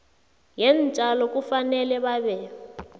yeentjalo kufanele babe